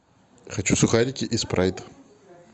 хочу сухарики и спрайт